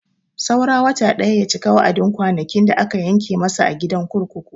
Saura wata ɗaya ya cika wa'adin kwanakin da aka yanke masa a gidan kurkuku.